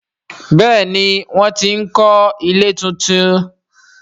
Béèni wón tí ń kò ilé títún.